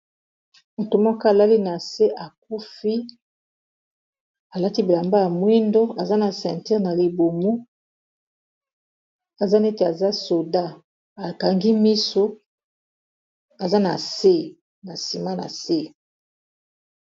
moto moko alali na se akufi alaki bilamba ya mwindo aza na centure na libumu aza neti aza soda akangi miso aza na na nsima na se